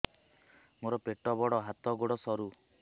ମୋର ପେଟ ବଡ ହାତ ଗୋଡ ସରୁ